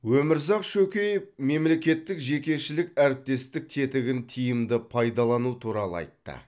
өмірзақ шөкеев мемлекеттік жекешелік әріптестік тетігін тиімді пайдалану туралы айтты